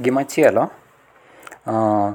Gima chielo um.